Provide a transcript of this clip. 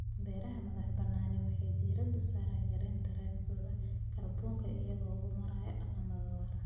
Beeraha madax-bannaani waxay diiradda saaraan yaraynta raadkooda kaarboonka iyagoo u maraya dhaqammo waara.